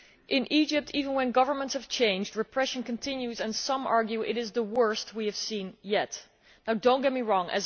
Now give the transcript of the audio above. In Egypt, even when governments have changed, repression continues, and some would argue this is the worst we have seen yet. Now do not get me wrong.